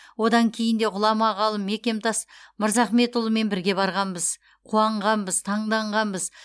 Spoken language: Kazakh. одан кейін де ғұлама ғалым мекемтас мырзахметұлымен бірге барғанбыз қуанғанбыз таңданғанбыз